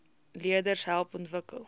leerders help ontwikkel